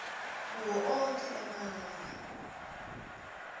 kuwo onkhe emave